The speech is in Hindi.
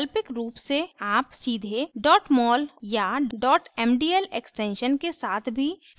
वैकल्पिक रूप से आप सीधे mol या mdl extension के साथ भी file सेव कर सकते हैं